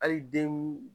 Hali den